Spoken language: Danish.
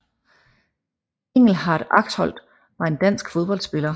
Engelhardt Axholt var en dansk fodboldspiller